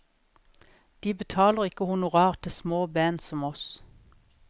De betaler ikke honorar til små band som oss.